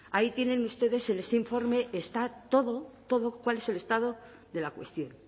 ahí tienen ustedes en ese informe está todo todo cuál es el estado de la cuestión